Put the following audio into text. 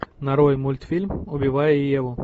нарой мультфильм убивая еву